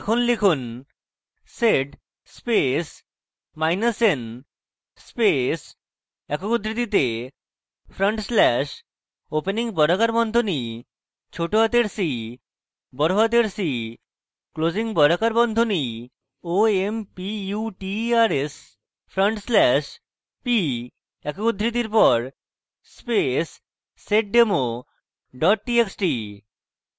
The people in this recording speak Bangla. এখন লিখুন sed space minus n space একক উদ্ধৃতিতে front slash opening বর্গাকার বন্ধনী cc closing বর্গাকার বন্ধনী omputers front slash p একক উদ্ধৃতির পর space seddemo txt txt